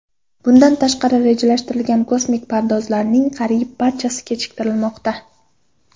Bundan tashqari, rejalashtirilgan kosmik parvozlarning qariyb barchasi kechiktirilmoqda.